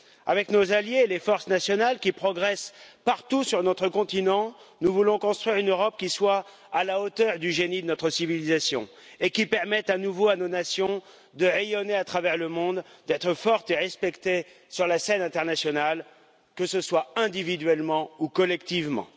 Avec nos alliés et les forces nationales qui progressent partout sur notre continent, nous voulons construire une Europe qui soit à la hauteur du génie de notre civilisation et qui permette à nouveau à nos nations de rayonner à travers le monde, d'être fortes et respectées sur la scène internationale, que ce soit individuellement ou collectivement.